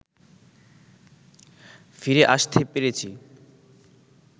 ফিরে আসতে পেরেছি